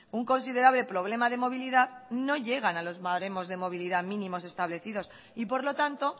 un considerable problema de movilidad no llegan a los baremos de movilidad mínimos establecidos y por lo tanto